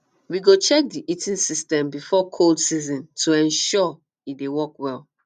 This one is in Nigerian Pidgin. um we go check the heating system before cold season to ensure e dey work well